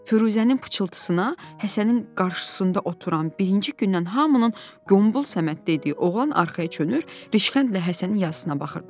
Firuzənin pıçıltısına Həsənin qarşısında oturan birinci gündən hamının qombal Səməd dediyi oğlan arxaya dönür, rişxəndlə Həsənin yazısına baxırdı.